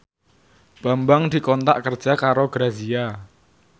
Bambang dikontrak kerja karo Grazia